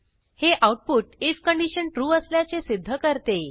हे output I F condition true असल्याचे सिध्द करते